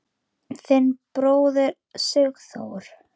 Þinn bróðir, Sigþór.